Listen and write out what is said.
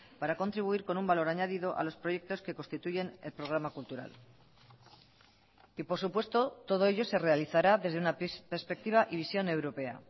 para contribuir con un valor añadido a los proyectos que constituyen el programa cultural y por supuesto todo ello se realizará desde una perspectiva y visión europea